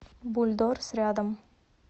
бульдорс рядом